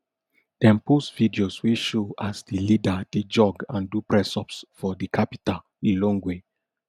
dem post videos wey show as di leader dey jog and do pressups for di capital lilongwe